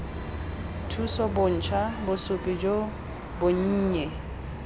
thuso bontsha bosupi jo bonnye